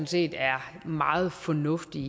set er meget fornuftige